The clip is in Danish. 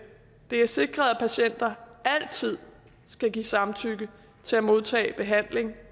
er sikret at patienter altid skal give samtykke til at modtage behandling